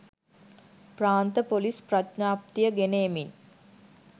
ප්‍රාන්ත police ප්‍රඥාප්තිය ගෙන එමින්